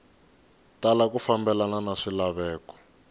tala ku fambelena na swilaveko